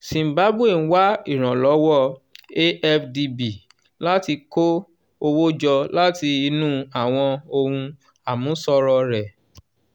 zimbabwe ń wá ìrànlọ́wọ́ afdb láti kó owó jọ láti inú àwọn ohun àmúṣọrọ̀ rẹ̀